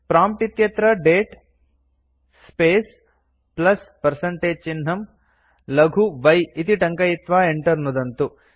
prompt इत्यत्र दते space plus percentage चिह्नं लघु y इति टङ्कयित्वा enter नुदन्तु